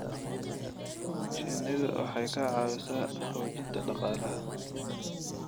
Shinnidu waxay ka caawisaa xoojinta dhaqaalaha.